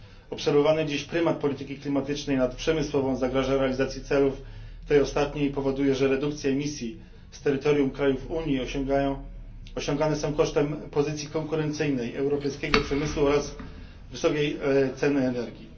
Obserwowany dziś prymat polityki klimatycznej nad przemysłową zagraża realizacji celów tej ostatniej i powoduje, że redukcje emisji z terytoriów krajów Unii osiągane są kosztem pozycji konkurencyjnej europejskiego przemysłu oraz wysokiej ceny energii.